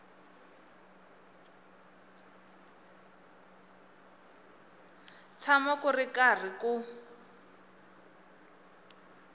tshama ku ri karhi ku